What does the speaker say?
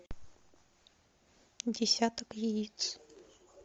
десяток яиц